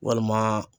Walima